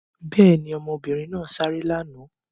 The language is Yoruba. Bẹ́ẹ̀ ni, ọmọbìnrin náà sáré lánàá.